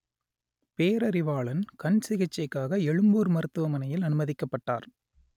பேரறிவாளன் கண் சிகிச்சைக்காக எழும்பூர் மருத்துவமனையில் அனுமதிக்கப்பட்டார்